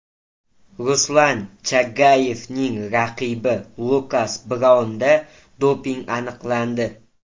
Ruslan Chagayevning raqibi Lukas Braunda doping aniqlandi .